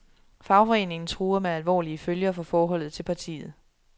Fagforeningen truer med alvorlige følger for forholdet til partiet.